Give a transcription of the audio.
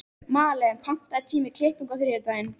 Malen, pantaðu tíma í klippingu á þriðjudaginn.